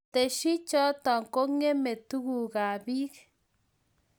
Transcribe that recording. ketesyi choto, kengeme tugukab biik